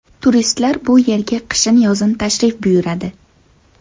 Turistlar bu yerga qishin-yozin tashrif buyuradi.